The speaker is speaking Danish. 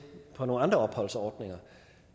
på nogle andre opholdsordninger